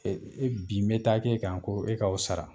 bin mɛ taa k'e kan ko e ka o sara